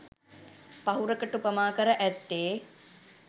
පහුරකට උපමා කර ඇත්තේ,